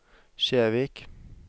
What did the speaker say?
Kjevik